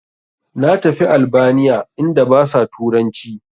Na tafi albaniya inda basa turanci